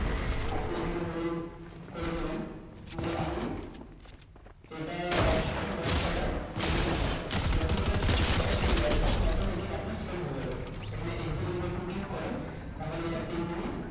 আপনি এখানে ধরুন করে দিলেন যে আমি এটা আহ ছশো দশ টাকায় exit নিতে চাই যখন এ টা ছশো দশ চলে আসবে তখন autometic আপনার সেল হয়ে যাবে এখানে exit এ যদি click করেন তাহলে এটা pending এ